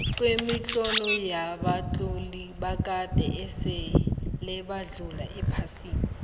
kemitlolo yabatloli bakade esile badlula ephasini